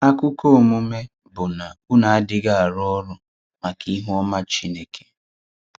Akụkọ̀ omume bụ́ na ụ́nụ adịghị arụ́ ọrụ̀ maka ihúọma Chineke.